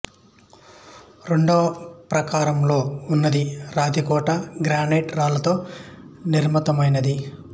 రెండవ ప్రాకారములో ఉన్నది రాతి కోట గ్రానైటు రాళ్ళతో నిర్మితమైనది